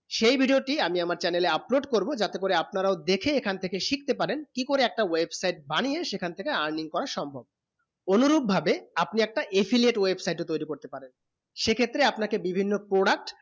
সেই video টি আমি আমার channel এ upload করবো যাতে করে আপনারাও দেখে এইখানে থেকে শিখতে পারেন কি করে একটা website বানিয়ে সেখান থেকে earning করা সম্ভব অনুরূপ ভাবে আপনি একটা affiliate website ও তয়রি করতে পারেন সেই ক্ষেত্রে আপনা কে বিভন্ন product